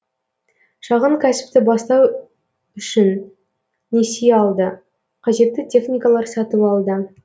шағын кәсіпті бастау үшін несие алды қажетті техникалар сатып алды